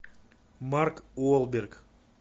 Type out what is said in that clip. марк уолберг